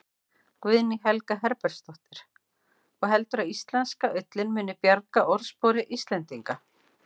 Guðný Helga Herbertsdóttir: Og heldurðu að íslenska ullin muni bjarga orðspori Íslendinga?